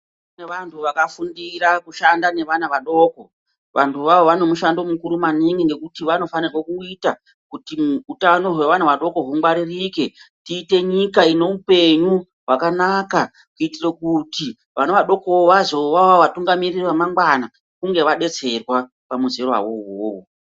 Kune vantu vakafundira kushanda nevana vadoko vantu vavo vane mushando mukuru maningi nekuti vanofanirwa kuita kuti hautano hwevana hungwaririke tiite nyika ine upenyu hwakanaka kuitira kuti vana vadoko vazovavo vatungamiriri vamangwana kunge vabetserwa pamuzera iwowo.